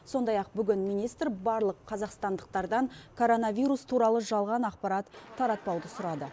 сондай ақ бүгін министр барлық қазақстандықтардан короновирус туралы жалған ақпарат таратпауды сұрады